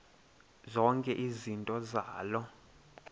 zonke izinto zaloo